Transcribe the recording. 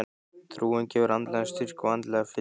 Trúin gefur andlegan styrk og andlega fyllingu.